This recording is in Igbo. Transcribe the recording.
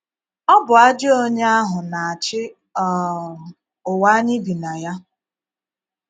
Ọ bụ ajọ́ onye ahụ na - achì um ụ̀wa anyị bì na ya.